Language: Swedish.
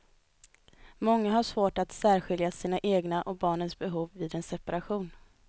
Många har svårt att särskilja sina egna och barnens behov vid en separation.